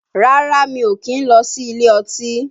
Rárá mi ò kìí ń lọ sí ilé ọtí